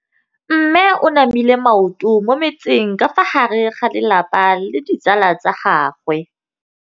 Mme o namile maoto mo mmetseng ka fa gare ga lelapa le ditsala tsa gagwe.